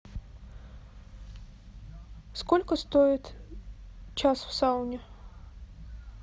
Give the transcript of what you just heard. сколько стоит час в сауне